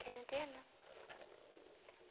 Quero internar?